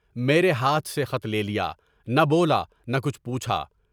میرے ہاتھ سے خط لے لیا، نہ بولا نہ کچھ پوچھا۔